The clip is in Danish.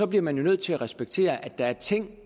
bliver nødt til at respektere at der er ting